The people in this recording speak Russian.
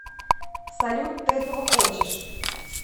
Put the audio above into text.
салют ты этого хочешь